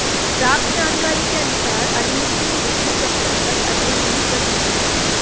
प्राप्त जानकारी के अनुसार अलीमुद्दीन दसवीं कक्षा तक अध्ययन नहीं कर सके हैं